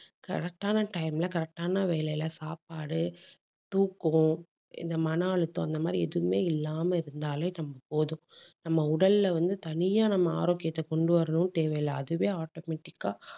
correct ஆன time ல correct ஆன வேலையில சாப்பாடு, தூக்கம், இந்த மனழுத்தம், அந்த மாதிரி எதுவுமே இல்லாமல் இருந்தாலே நமக்கு போதும் நம்ம உடல்ல வந்து தனியா நம்ம ஆரோக்கியத்தை கொண்டு வரணும்ன்னு தேவையில்லை. அதுவே automatic ஆ